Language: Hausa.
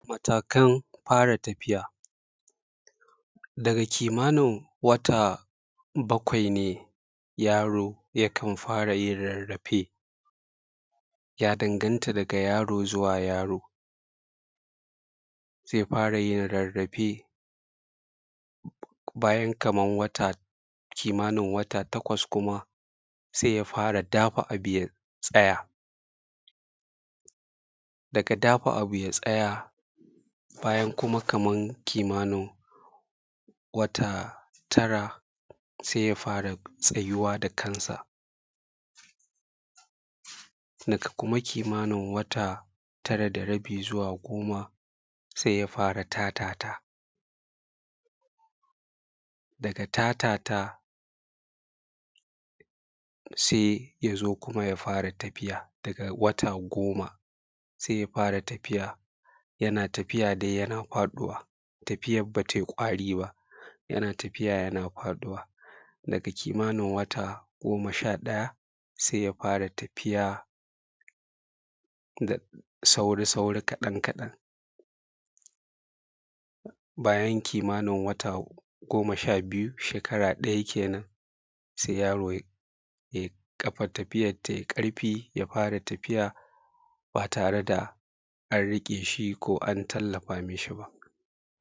matakan fara tafiya Daga kimanin wata bakwai ne yaaro yakan fara yin rarrafe, ya danganta daga yaro zuwa yaro. zai fara yin rarrafe bayan kaman kimanin wata takwas kuma sai ya fara dafa abu ya tsaya, daga dafa abu ya tsaya, bayan kuma kaman kimanin wata tara, sai ya fara tsayiwa da kansa. Daga kuma kimanin wata tara da rabi zuwa goma, sai ya fara tatata, daga tatata, sai ja zo kuma ya fara tafiya, goma sai ja zo kuma ya fara tafiya, yana tafiya yana faɗuwa, tafiyar bata yi ƙwaari ba. yana tafiya yana faduwa. Daga kimanin wata goma sha ɗaya, sai ya fara tafiya da sauri-sauri kaɗan-kaɗan bayan kimanin wata goma sha biyu, shekara ɗaya kenan, sai yaro ƙafar tafiyar tai ƙarfi ya fara tafiya ba tare da an riƙe shi ko an tallafa mishi ba.